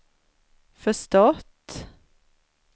förstått